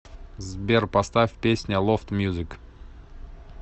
сбер поставь песня лофт мьюзик